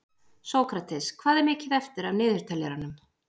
Sókrates, hvað er mikið eftir af niðurteljaranum?